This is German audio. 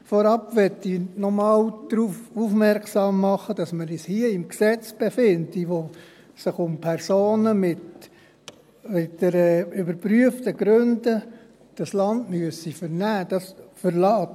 Vorab möchte ich noch einmal darauf aufmerksam machen, dass wir uns hier im Gesetz befinden, in dem es um Personen geht, die aus überprüften Gründen das Land verlassen müssen.